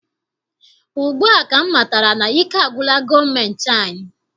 Ugbua ka m matara na ike agwụla gọọmentị anyị.